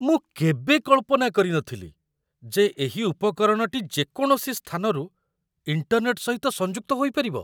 ମୁଁ କେବେ କଳ୍ପନା କରି ନଥିଲି ଯେ ଏହି ଉପକରଣଟି ଯେକୌଣସି ସ୍ଥାନରୁ ଇଣ୍ଟର୍ନେଟ୍‌ ସହିତ ସଂଯୁକ୍ତ ହୋଇପାରିବ।